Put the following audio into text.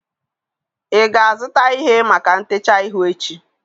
ị ga-azụta ihe maka ntecha ihu echi?